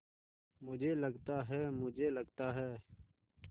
मुझे लगता है मुझे लगता है